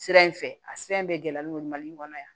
Sira in fɛ a sira in bɛɛ gɛlɛn n'o ye mali kɔnɔ yan